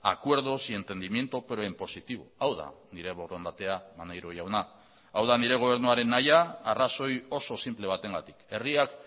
acuerdos y entendimiento pero en positivo hau da nire borondatea maneiro jauna hau da nire gobernuaren nahia arrazoi oso sinple batengatik herriak